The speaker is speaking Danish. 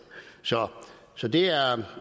så så det er